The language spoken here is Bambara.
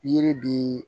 Yiri bi